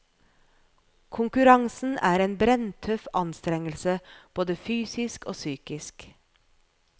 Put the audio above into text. Konkurransen er en brenntøff anstrengelse både fysisk og psykisk.